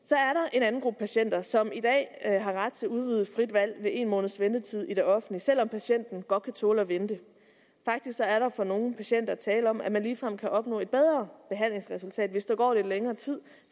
en anden gruppe patienter som i dag har ret til udvidet frit valg ved en måneds ventetid i det offentlige selv om patienten godt kan tåle at vente faktisk er der for nogle patienter tale om at man ligefrem kan opnå et bedre behandlingsresultat hvis der går lidt længere tid